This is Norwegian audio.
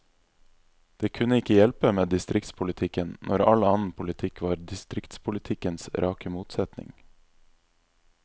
Det kunne ikke hjelpe med distriktspolitikken, når all annen politikk var distriktspolitikkens rake motsetning.